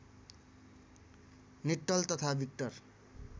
निट्टल तथा विक्टर